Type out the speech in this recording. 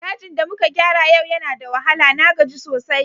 Dajin da muka gyara yau yana da wahala, na gaji sosai.